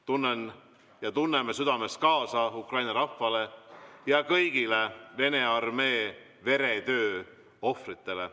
Tunnen ja tunneme südamest kaasa Ukraina rahvale ja kõigile Vene armee veretöö ohvritele.